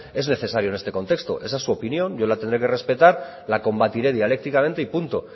es necesario en ese contexto esa es su opinión yo la tendré que respetar la combatiré dialécticamente y punto